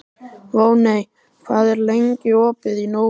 Voney, hvað er lengi opið í Nova?